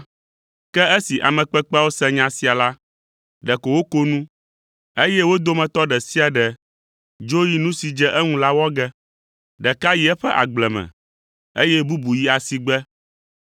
“Ke esi ame kpekpeawo se nya sia la, ɖeko woko nu, eye wo dometɔ ɖe sia ɖe dzo yi nu si dze eŋu la wɔ ge; ɖeka yi eƒe agble me, eye bubu yi asigbe.